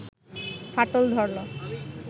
ফাটল ধরল